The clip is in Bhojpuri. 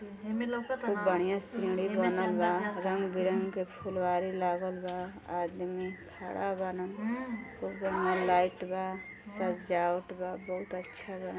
खूब बढ़िया सीढ़ी बनल ब | रंग बिरंग के फुलवारी लागल बा | आदमी खड़ा बान | खूब बढ़िया लाइट बा सजावट बा बहुत अच्छा बा।